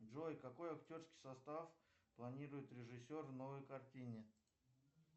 джой какой актерский состав планирует режиссер в новой картине